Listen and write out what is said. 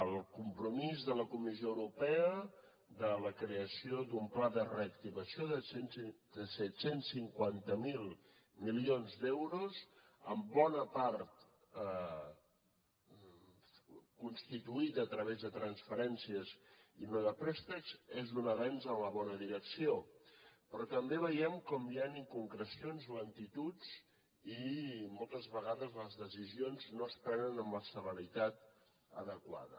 el compromís de la comissió europea de la creació d’un pla de reactivació de set cents i cinquanta miler milions d’euros en bona part constituït a través de transferències i no de préstecs és un avenç en la bona direcció però també veiem com hi han inconcrecions lentituds i moltes vegades les decisions no es prenen amb la celeritat adequada